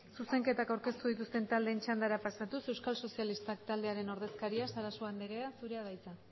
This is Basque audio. zuzenketak aurkeztu dituzten taldeen txandara pasatuz euskal sozialistak taldearen ordezkariak sarasua anderea zurea da hitza